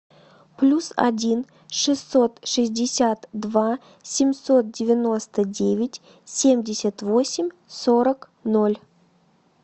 плюс один шестьсот шестьдесят два семьсот девяносто девять семьдесят восемь сорок ноль